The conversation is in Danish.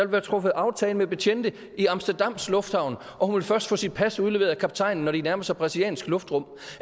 være truffet aftale med betjente i amsterdams lufthavn og hun vil først få sit pas udleveret af kaptajnen når de nærmer sig brasiliansk luftrum